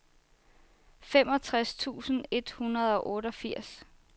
femogtres tusind et hundrede og otteogfirs